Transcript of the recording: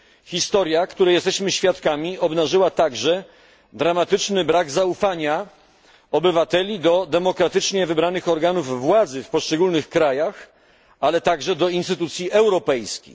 Historia, której jesteśmy świadkami, obnażyła także dramatyczny brak zaufania obywateli do demokratycznie wybranych organów władzy w poszczególnych krajach, ale również do instytucji europejskich.